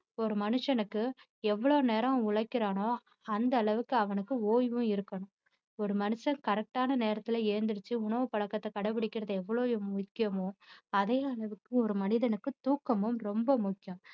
ஒரு மனுஷனுக்கு எவ்வளவு நேரம் உழைக்கிறானோ அந்த அளவுக்கு அவனுக்கு ஓய்வும் இருக்கணும் ஒரு மனுஷன் correct ஆன நேரத்துல எழுந்திடுச்சு உணவுப்பழக்கத்தை கடைப்பிடிக்கிறது எவ்வளவு முக்கியமோ அதே அளவிற்கு ஒரு மனிதனுக்கு தூக்கமும் ரொம்ப முக்கியம்